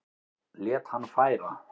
Lét hann færa